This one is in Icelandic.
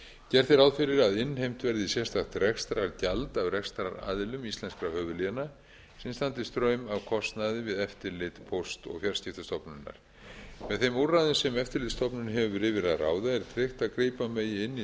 gert er ráð fyrir að innheimt verði sérstakt rekstrargjald af rekstraraðilum íslenskra höfuðléna sem standi straum af kostnaði við eftirlit póst og fjarskiptastofnunar með þeim úrræðum sem eftirlitsstofnun hefur yfir að ráða er tryggt að grípa megi inn í